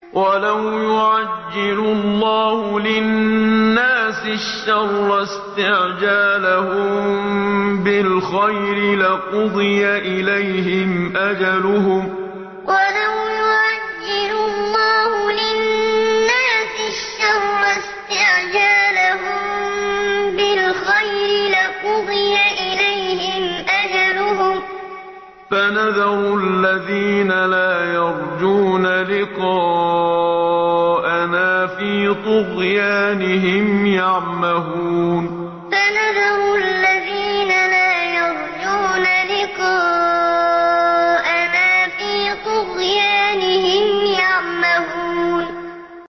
۞ وَلَوْ يُعَجِّلُ اللَّهُ لِلنَّاسِ الشَّرَّ اسْتِعْجَالَهُم بِالْخَيْرِ لَقُضِيَ إِلَيْهِمْ أَجَلُهُمْ ۖ فَنَذَرُ الَّذِينَ لَا يَرْجُونَ لِقَاءَنَا فِي طُغْيَانِهِمْ يَعْمَهُونَ ۞ وَلَوْ يُعَجِّلُ اللَّهُ لِلنَّاسِ الشَّرَّ اسْتِعْجَالَهُم بِالْخَيْرِ لَقُضِيَ إِلَيْهِمْ أَجَلُهُمْ ۖ فَنَذَرُ الَّذِينَ لَا يَرْجُونَ لِقَاءَنَا فِي طُغْيَانِهِمْ يَعْمَهُونَ